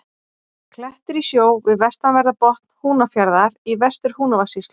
Klettur í sjó við vestanverðan botn Húnafjarðar í Vestur-Húnavatnssýslu.